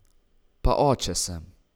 Pa oče sem...